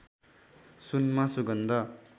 सुनमा सुगन्ध